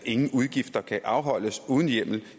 ingen udgifter kan afholdes uden hjemmel